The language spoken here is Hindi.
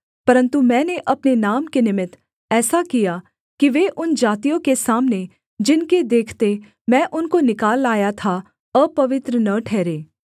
परन्तु मैंने अपने नाम के निमित्त ऐसा किया कि वे उन जातियों के सामने जिनके देखते मैं उनको निकाल लाया था अपवित्र न ठहरे